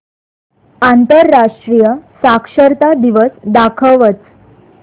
आंतरराष्ट्रीय साक्षरता दिवस दाखवच